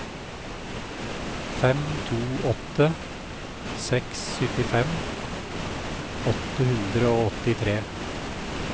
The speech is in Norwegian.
fem to åtte seks syttifem åtte hundre og åttitre